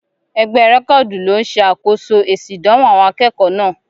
Egbẹ́ rẹ́kọ́du lló n ṣe akoso èsì ìdánwò àwọn akẹ́kọ̀ọ́ náà.